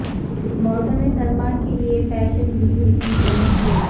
موسم سرما کے لئے فیشن بھیڑ کی چمک کوٹ